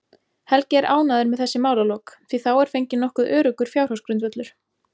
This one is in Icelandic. Helgi er ánægður með þessi málalok, því þá er fenginn nokkuð öruggur fjárhagsgrundvöllur.